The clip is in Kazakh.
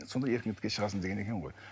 сонда еркіндікке шағасың деген екен ғой